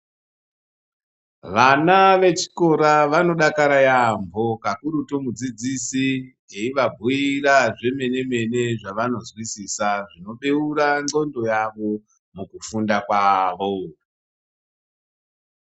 Vana vechikora vanodakara yaampho, kakurutu mudzidzisi eivabhuira zvemene-mene zvavanozwisisa zvinobeura ndxondo yavo, mukufunda kwavo.